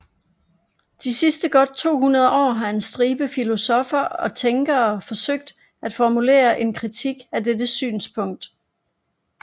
De sidste godt 200 år har en stribe filosoffer og tænkere forsøgt at formulere en kritik af dette synspunkt